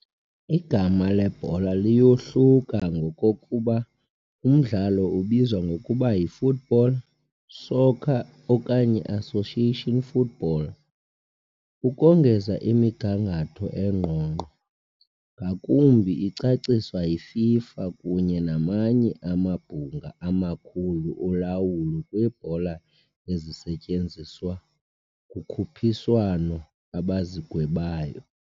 Igama lebhola liyohluka ngokokuba umdlalo ubizwa ngokuba yi "football", "soccer", okanye "association football". Ukongeza, imigangatho engqongqo ngakumbi icaciswa yiFIFA kunye namanye amabhunga amakhulu olawulo kwiibhola ezisetyenziswa kukhuphiswano abazigwebayo.